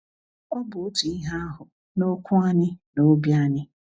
Ọ bụ otu ihe ahụ na okwu anyị na obi anyị.